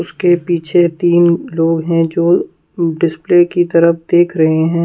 इसके पीछे तीन लोग हैं जो डिस्प्ले की तरफ देख रहे हैं।